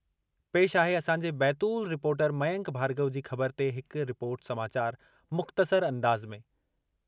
पेशि आहे असांजे बैतूल रिपोर्टर मयंक भार्गव जी ख़बर ते हिक रिपोर्ट समाचार मुख़्तसर अंदाज़ में: